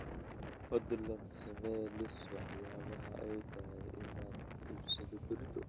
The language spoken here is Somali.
Fadlan samee liis waxyaabaha ay tahay inaan iibsado berrito